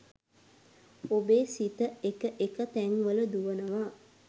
ඔබේ සිත එක එක තැන්වල දුවනවා.